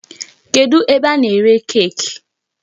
Kedụ ebe a na-ere cake?